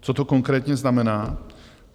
Co to konkrétně znamená?